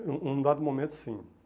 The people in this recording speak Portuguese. Em um um dado momento, sim.